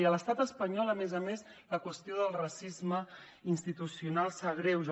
i a l’estat espanyol a més a més la qüestió del racisme institucional s’agreuja